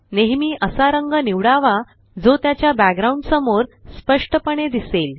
नेहेमी असा रंग निवडावा जो त्याच्या बॅकग्राउंड समोर स्पष्टपणे दिसेल